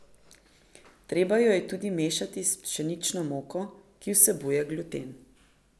Treba jo je tudi mešati s pšenično moko, ki vsebuje gluten.